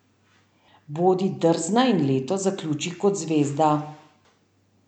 Bodi drzna in leto zaključi kot zvezda!